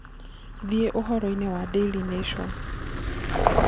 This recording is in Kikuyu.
thie uhoro ini wa daily nation